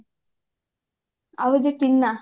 ଆଉ ଯୋଉ ଟିନା